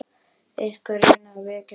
Einhver reynir að vekja hana.